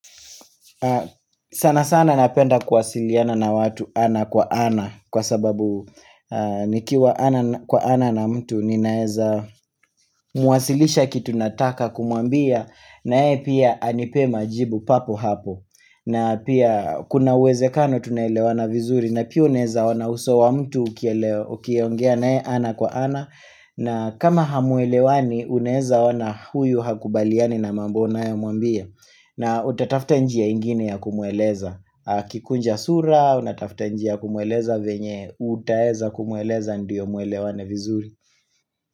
Sana sana napenda kuwasiliana na watu ana kwa ana Kwa sababu nikiwa ana kwa ana na mtu ninaeza Nawasilisha kitu nataka kumwambia na yeye pia anipe majibu papo hapo na pia kuna wezekano tunelewana vizuri, na pia uneeza ona uso wa mtu ukiongea na yeye ana kwa ana na kama hamuelewani unaeza ona huyu hakubaliani na mambo unayo muambia na utatafta njia ingine ya kumueleza Kikunja sura, utatafta njia kumueleza venye utaeza kumueleza ndiyo muelewane vizuri.